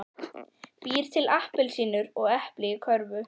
Býr til appelsínur og epli í körfuna.